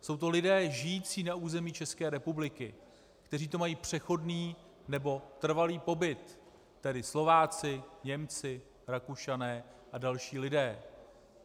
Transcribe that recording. Jsou to lidé žijící na území České republiky, kteří tu mají přechodný nebo trvalý pobyt, tedy Slováci, Němci, Rakušané a další lidé.